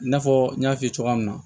I n'a fɔ n y'a f'i ye cogoya min na